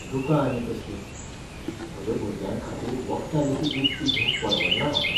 दुकां आनीक कसलीं? म्हज्या भुरग्यांखातीर वखदां लेगीत विकतीं घेवंक परवडना म्हाका.